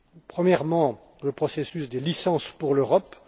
Premièrement, le processus Des licences pour l'Europe.